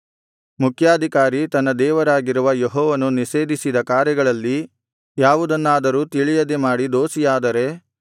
ಮುಖ್ಯಾಧಿಕಾರಿ ತನ್ನ ದೇವರಾಗಿರುವ ಯೆಹೋವನು ನಿಷೇಧಿಸಿದ ಕಾರ್ಯಗಳಲ್ಲಿ ಯಾವುದನ್ನಾದರೂ ತಿಳಿಯದೆ ಮಾಡಿ ದೋಷಿಯಾದರೆ